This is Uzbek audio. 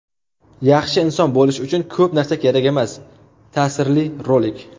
Yaxshi inson bo‘lish uchun ko‘p narsa kerak emas – ta’sirli rolik!.